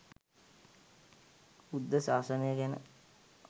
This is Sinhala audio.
බුද්ධ ශාසනය ගැන